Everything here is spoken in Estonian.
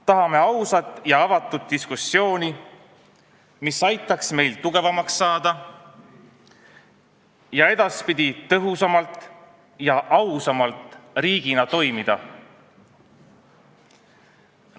Tahame ausat ja avatud diskussiooni, mis aitaks meil tugevamaks saada ning edaspidi riigina tõhusamalt ja ausamalt toimida.